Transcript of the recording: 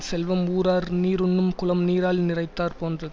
செல்வம் ஊரார் நீருண்ணும் குளம் நீரால் நிறைந்தாற் போன்றது